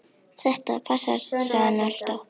Þetta passar, sagði hann alltaf.